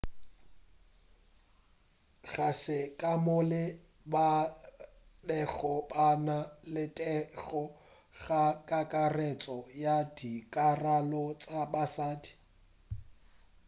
ga se kamoka ba bego ba na le thekgo go kakaretšo ya dikarolo tša basadi